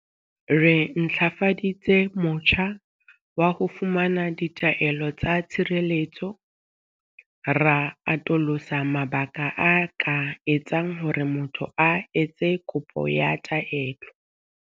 Re ntlafaditse motjha wa ho fumana ditaelo tsa tshireletso, ra atolosa mabaka a ka etsang hore motho a etse kopo ya taelo.